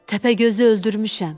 Təpəgözü öldürmüşəm.